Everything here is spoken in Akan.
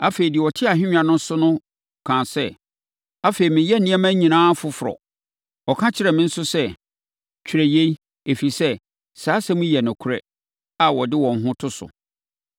Afei, deɛ ɔte ahennwa no so no kaa sɛ, “Afei, mereyɛ nneɛma nyinaa foforɔ!” Ɔka kyerɛɛ me nso sɛ, “Twerɛ yei, ɛfiri sɛ, saa nsɛm yi yɛ nokorɛ a wɔde wɔn ho to so.”